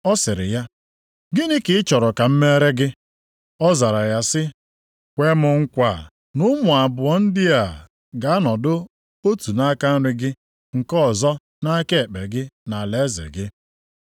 Ọ sịrị ya, “Gịnị ka ị chọrọ ka m meere gị?” Ọ zara ya sị, “Kwee m nkwa na ụmụ abụọ ndị a ga-anọdụ otu nʼaka nri gị, nke ọzọ nʼaka ekpe gị nʼalaeze gị.”